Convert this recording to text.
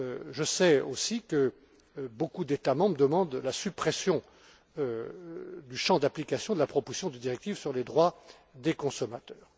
Je sais aussi que beaucoup d'États membres demandent la suppression du champ d'application de la proposition de directive sur les droits des consommateurs.